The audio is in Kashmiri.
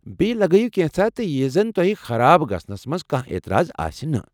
بییہِ لگٲوِو كینژھا تہِ یہِ زن تۄہہ خراب گژھنس منٛز کانٛہہ اعتراض آسہِ نہٕ۔